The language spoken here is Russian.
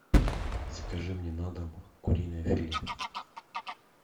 закажи мне на дом куриное филе